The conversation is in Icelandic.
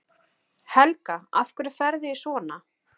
Helga: Af hverju ferðu í svona?